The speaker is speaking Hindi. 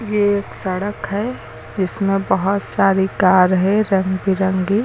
ये एक सड़क है जिसमें बहोत सारी कार है रंग बिरंगी।